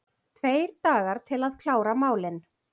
Tveir dagar til að klára málin